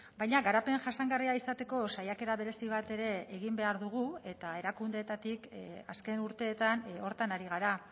baina garapen jasangarria izateko saiakera berezi bat ere egin behar dugu eta erakundeetatik azken urteetan horretan ari gara